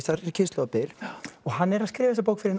er kynslóðabil hann skrifar þessa bók fyrir